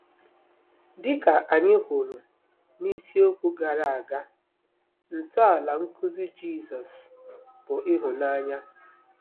Dị ka anyị hụrụ n’isiokwu gara aga, ntọala nkuzi Jizọs bụ ịhụnanya.